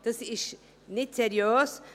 Dies ist nicht seriös.